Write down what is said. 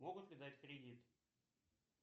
могут ли дать кредит